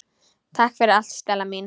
Takk fyrir allt Stella mín.